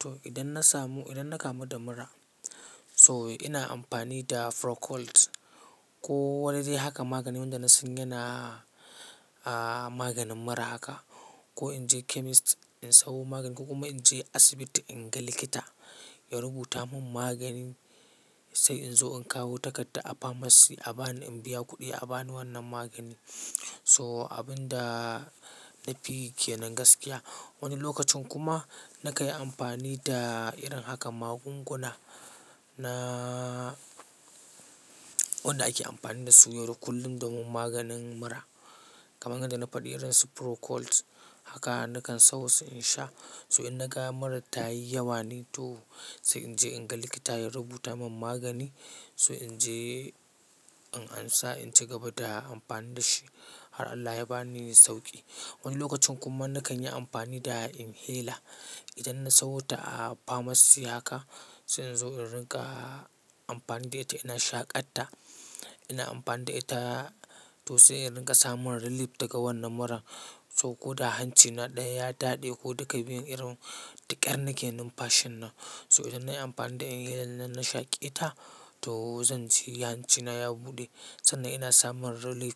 To idan na samu, idan na kamu da mura so ina amfani da Procold ko wani dai haka magani wanda na san yana maganin mura haka, ko in je chemist in samo magani ko kuma in je asibiti in ga likita ya rubuta mun magani sai in zo in kawo takarda a pharmacy a bani in biya kuɗi a bani wannan magani. So abin da na fi ke nan gaskiya wani lokacin kuma na kai amfani da irin haka magunguna na wanda ake amfani da su yau da kullum domin maganin mura kaman yanda na faɗi irin su Procold haka nakan samu sai in sha. So idan na ga murar ta yi yawa ne to sai in je in ga likita ya rubuta mun magani so in je in ansa in ci gaba da amfani da shi har Allah ya ba ni sauƙi. Wani lokacin kuma na kan yi amfani da inhaler idan na sayo ta a pharmacy haka sai in zo in riƙa amfani da ita ina shaƙa ta ina amfani da ita to sai in riƙa samun relief daga wannan murar. So ko da hancina ɗaya ya daɗe ko duka biyun irin taƙar nake nunfashi nan so idan nayi amfani da inhaler na shaƙe ita to zan ji hancina ya buɗe sannan ina samun relief